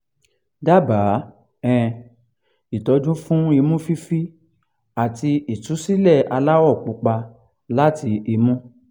dábàá um ìtọ́jú fún imú fifi àti ìtúsílẹ̀ aláwọ̀ pupa láti imú